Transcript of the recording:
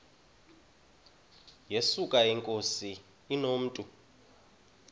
yesuka inkosi inomntu